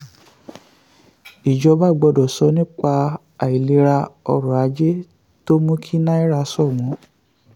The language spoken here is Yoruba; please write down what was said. ìjọba gbọ́dọ̀ sọ um nípa àìlera um ọrọ̀ ajé tó mú um kí náírà ṣọ̀wọ́n.